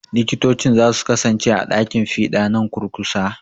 Likitocin za su kasance a ɗakin fiɗa nan kurkusa.